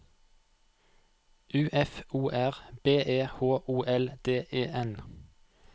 U F O R B E H O L D E N